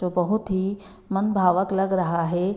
तो बहुत ही मनभावक लग रहा हे।